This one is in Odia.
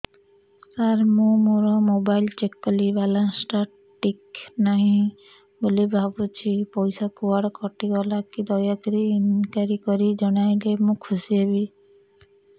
ସାର ମୁଁ ମୋର ମୋବାଇଲ ଚେକ କଲି ବାଲାନ୍ସ ଟା ଠିକ ନାହିଁ ବୋଲି ଭାବୁଛି ପଇସା କୁଆଡେ କଟି ଗଲା କି ଦୟାକରି ଇନକ୍ୱାରି କରି ଜଣାଇଲେ ମୁଁ ଖୁସି ହେବି